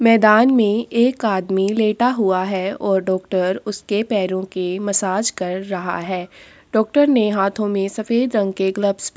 मैदान में एक आदमी लेटा हुआ है और डॉक्टर उसके पैरों की मसाज कर रहा है। डॉक्टर ने हाथों में सफेद रंग के ग्लव्स --